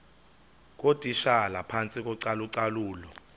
ngootitshala phantsi kocalucalulo